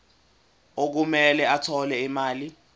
okumele athole imali